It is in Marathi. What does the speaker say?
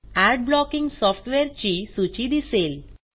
अड ब्लॉकिंग सॉफ्टवेअरची सूची दिसेल